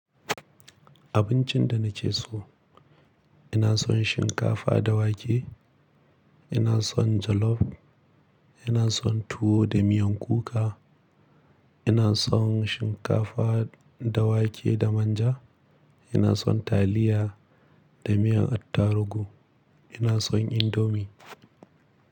Abincin da na ke so, ina son shinkafa da wake, ina son jollof, ina son tuwo da miyan kuka, ina son shinkafa da wake da manja, ina son taliya da miyan attarugu, ina son indomie.